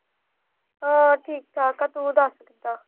ਹਾਂ, ਠੀਕ ਠਾਕ ਆ ਤੂੰ ਦੱਸ ਕਿੱਦਾ।